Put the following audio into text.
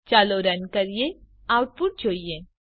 ચાલો રન કરીએ અને આઉટપુટ જોઈએ